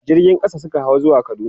jirgin ƙasa Suka hau zuwa kaduna